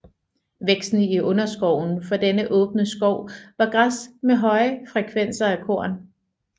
Væksten i underskoven for denne åbne skov var græs med høje frekvenser af korn